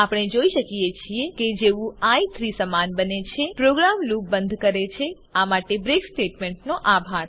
આપણે જોઈ શકીએ છીએ કે જેવું આઇ 3 સમાન બને છે પ્રોગ્રામ લુપ બંધ કરે છે આ માટે બ્રેક સ્ટેટમેન્ટનો આભાર